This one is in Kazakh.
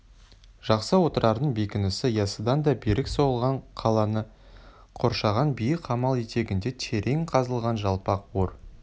жақсы отырардың бекінісі яссыдан да берік соғылған қаланы қоршаған биік қамал етегінде терең қазылған жалпақ ор